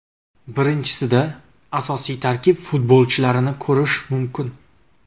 Birinchisida asosiy tarkib futbolchilarini ko‘rish mumkin.